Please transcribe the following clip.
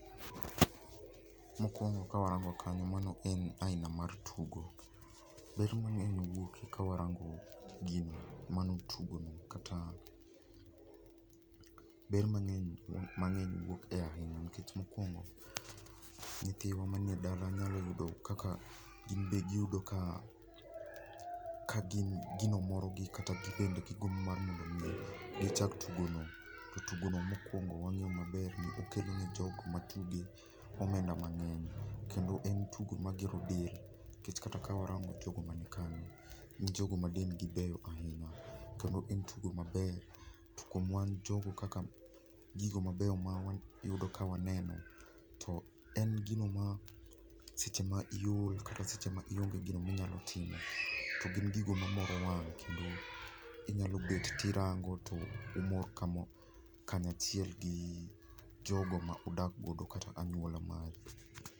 Mokuongo kawarango kanyo mano en aina mar tugo. Ber manag'eny wuoke kawarango gino. Mano tugoni kata ber manag'eny mang'eny wuok ahinya nikech ,mokuongo nyithiwa manie edala nyalo yudo kaka ginbe giyudo ka ka gin gino morogi kata gin bende gimb mar mondo mi gichak tugono. To tugono mokuongo wang'eyo maber ni okelo ne jogo matuge omenda mang'eny kendo en tugo magero del nikech kata kawarango jogo man kagi gin jogo madendgi beyo ahinya kendo en tugo, maber kuom wan jogo kaka gigo ,mabeyo mawayudo ka waneno to en gino ma seche ma iol kata seche ma ionge gino minyalao timo to gin gigo moro wang' kendo inyalo bet tirango to umor kanya achiel gi jogo ma udak godo kata anyuola mari.